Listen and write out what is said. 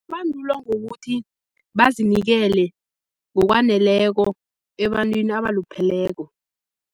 Kubandulwa ngokuthi bazinikele ngokwaneleko ebantwini abalupheleko.